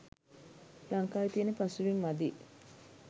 ලංකාවෙ තියෙන පසුබිම මදියි.